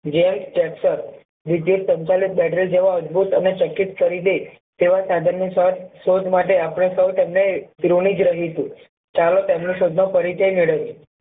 જે ટ્રેક્ટર વિદ્યુત સંચાલિત battery જેવા અદ્ભુત તેને કરી છે તેવા સાધન ની શોધ શોધ માટે આપણે સૌ તેમણે જ રહીશું ચાલો તેમની શોધ નો પરિચય મેળવીએ